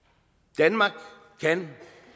danmark kan